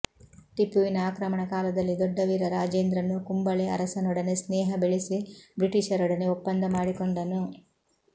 ಟಿಪ್ಪುವಿನ ಆಕ್ರಮಣ ಕಾಲದಲ್ಲಿ ದೊಡ್ಡವೀರ ರಾಜೇಂದ್ರನು ಕುಂಬಳೆ ಅರಸನೊಡನೆ ಸ್ನೇಹ ಬೆಳೆಸಿ ಬ್ರಿಟಿಷರೊಡನೆ ಒಪ್ಪಂದ ಮಾಡಿಕೊಂಡನು